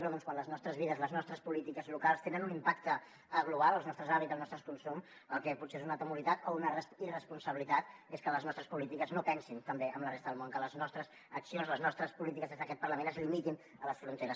però quan les nostres vides les nostres polítiques locals tenen un impacte global els nostres hàbits el nostre consum el que potser és una temeritat o una irresponsabilitat és que les nostres polítiques no pensin també en la resta del món que les nostres accions les nostres polítiques des d’aquest parlament es limitin a les fronteres